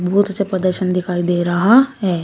बहुत अच्छा प्रदर्शन दिखाई दे रहा है।